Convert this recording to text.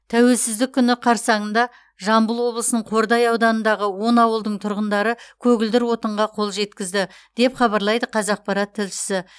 тәуелсіздік күні қарсаңында жамбыл облысының қордай ауданындағы он ауылдың тұрғындары көгілдір отынға қол жеткізді деп хабарлайды қазақпарат тілшісі